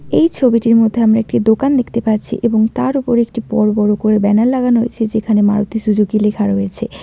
এই ছবিটির মধ্যে আমরা একটি দোকান দেখতে পারছি এবং তার ওপর একটি বড়ো বড়ো করে ব্যানার লাগানো রয়েছে যেখানে মারুতি সুজুকি লেখা রয়েছে।